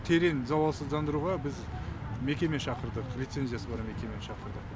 терең залалсыздандыруға біз мекеме шақырдық лицензиясы бар мекемені шақырдық